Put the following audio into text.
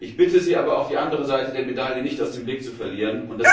Ich bitte Sie aber, auch die andere Seite der Medaille nicht aus dem Blick zu verlieren.